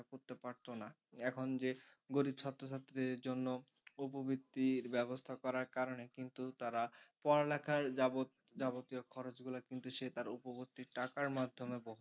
করতে পারত না এখন যে গরিব ছাত্র ছাত্রীদের জন্য উপবৃত্তির ব্যবস্থা করার কারণে কিন্তু তারা পড়ালেখার যাবত যাবতীয় খরচ গুলা কিন্তু সে তার উপবর্তী টাকার মাধ্যমে বহন